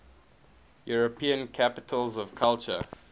european capitals of culture